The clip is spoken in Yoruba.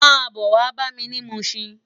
Má bò wá bámi ni Mushin